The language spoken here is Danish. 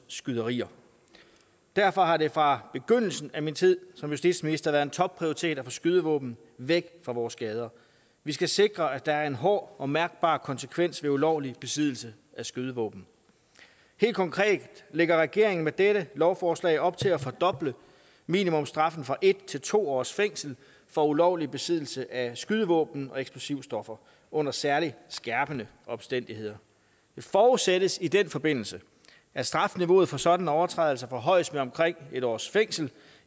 skyderier derfor har det fra begyndelsen af min tid som justitsminister været en topprioritet at få skydevåben væk fra vores gader vi skal sikre at der er en hård og mærkbar konsekvens ved ulovlig besiddelse af skydevåben helt konkret lægger regeringen med dette lovforslag op til at fordoble minimumsstraffen fra en til to års fængsel for ulovlig besiddelse af skydevåben og eksplosivstoffer under særligt skærpende omstændigheder det forudsættes i den forbindelse at strafniveauet for sådanne overtrædelser forhøjes med omkring en års fængsel